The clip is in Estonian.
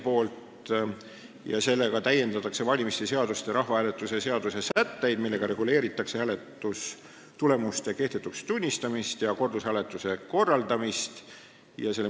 Selle muudatusettepanekuga täiendatakse valimiste seaduste ja rahvahääletuse seaduse sätteid, millega reguleeritakse hääletustulemuste kehtetuks tunnistamist ja kordushääletuse korraldamist.